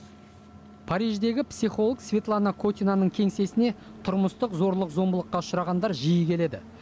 париждегі психолог светлана котинаның кеңсесіне тұрмыстық зорлық зомбылыққа ұшырағандар жиі келеді